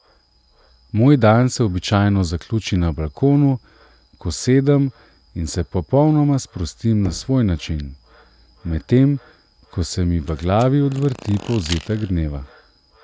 Moj dan se običajno zaključi na balkonu, ko sedem in se popolnoma sprostim na svoj način, medtem ko se mi v glavi odvrti povzetek dneva.